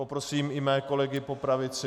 Poprosím i své kolegy po pravici.